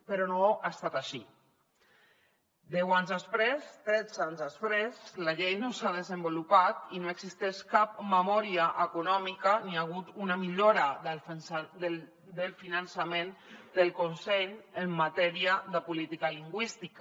però no ha estat així deu anys després tretze anys després la llei no s’ha desenvolupat i no existeix cap memòria econòmica ni hi ha hagut una millora del finançament del conselh en matèria de política lingüística